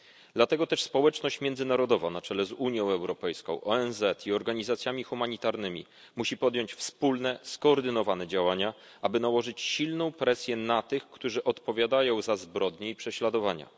Dlatego też społeczność międzynarodowa na czele z Unią Europejską, ONZ i organizacjami humanitarnymi musi podjąć wspólne, skoordynowane działania, aby nałożyć silną presję na tych, którzy odpowiadają za zbrodnie i prześladowania.